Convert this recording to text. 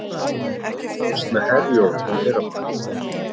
Óvíst með Herjólf í fyrramálið